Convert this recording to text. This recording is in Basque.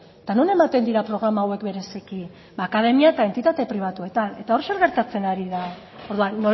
eta non ematen dira programa hauek bereziki ba akademia eta entitate pribatuetan eta hor zer gertatzen ari da orduan